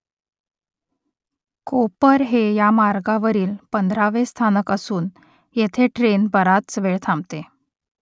कोपर हे या मार्गावरील पंधरावे स्थानक असून येथे ट्रेन बराच वेळ थांबते